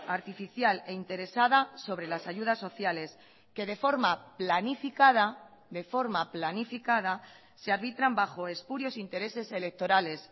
artificial e interesada sobre las ayudas sociales que de forma planificada de forma planificada se arbitran bajo espurios intereses electorales